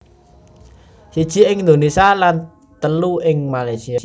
Siji ing Indonésia lan teu ing Malaysia